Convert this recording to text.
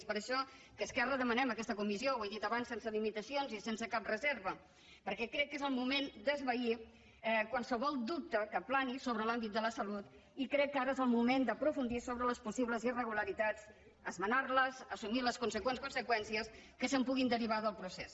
és per això que esquerra demanem aquesta comissió ho he dit abans sense limitacions i sense cap reserva perquè crec que és el moment d’esvair qualsevol dubte que plani sobre l’àmbit de la salut i crec que ara és el moment d’aprofundir sobre les possibles irregularitats esmenar les assumir les conseqüents conseqüències que se’n puguin derivar del procés